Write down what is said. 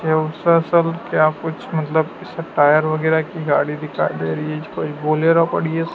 क्या कुछ मतलब ऐसा टायर वगैरह की गाड़ी दिखाई दे रही है कोई बोलेरो पड़ी है।